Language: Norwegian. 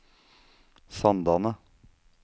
Sandane